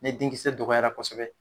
Ne den kisɛ dɔgɔyara kosɛbɛ